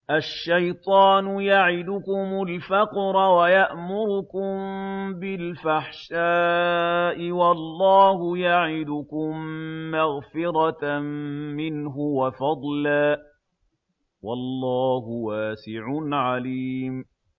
الشَّيْطَانُ يَعِدُكُمُ الْفَقْرَ وَيَأْمُرُكُم بِالْفَحْشَاءِ ۖ وَاللَّهُ يَعِدُكُم مَّغْفِرَةً مِّنْهُ وَفَضْلًا ۗ وَاللَّهُ وَاسِعٌ عَلِيمٌ